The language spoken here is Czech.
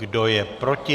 Kdo je proti?